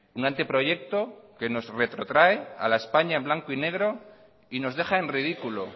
un anteproyecto que nos retrotrae a la españa en blanco y negro y nos deja en ridículo